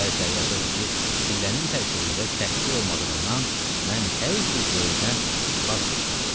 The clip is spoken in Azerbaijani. Bəziləri yazırdı ki, sillənin tərkibində təhqir olmadığından mən hər cür dueldən vaz keçməliyəm.